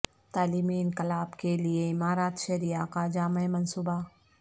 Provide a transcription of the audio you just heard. تعلیمی انقلاب کے لیے امارت شرعیہ کا جامع منصوبہ